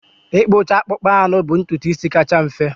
Ịkpụcha akpụkpọ anụ bụ ntutu isi kacha mfe.